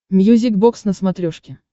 мьюзик бокс на смотрешке